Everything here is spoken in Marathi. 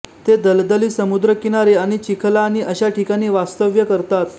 ते दलदली समुद्रकिनारे आणि चिखलाणी अश्या ठिकाणी वास्तव्य करतात